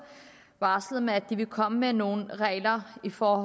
barslet med at de vil komme med nogle regler for